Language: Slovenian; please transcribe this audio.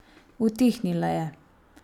Utihnila je.